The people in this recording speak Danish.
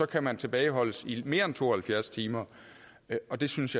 kan man tilbageholdes i mere end to og halvfjerds timer og det synes